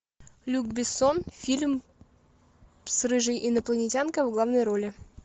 люк бессон фильм с рыжей инопланетянкой в главной роли